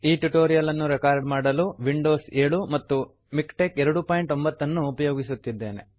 ಈ ಟ್ಯುಟೋರಿಯಲ್ ಅನ್ನು ರೆಕಾರ್ಡ್ ಮಾಡಲು ವಿಂಡೋಸ್ 7 ಮತ್ತು ಮಿಕ್ಟೆಕ್ 29 ಅನ್ನು ಉಪಯೋಗಿಸುತ್ತಿದ್ದೇನೆ